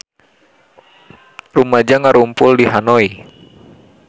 Rumaja ngarumpul di Hanoi